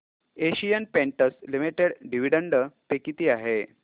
Asian Paints Limited dividend pay किती आहे